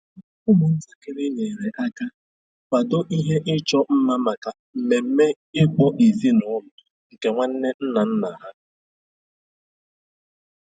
Ụmụntakịrị nyere aka kwado ihe ịchọ mma maka ememe ịkpọ ezinụlọ nke nwanne nna nna ha.